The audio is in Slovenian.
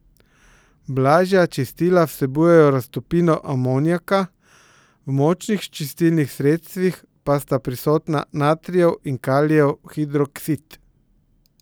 Blažja čistila vsebujejo raztopino amonijaka, v močnih čistilnih sredstvih pa sta prisotna natrijev in kalijev hidroksid.